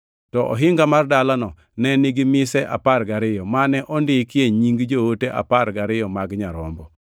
To ohinga mar dalano ne nigi mise apar gariyo, mane ondikie nying joote apar gariyo mag Nyarombo.